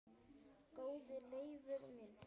Góði Leifur minn,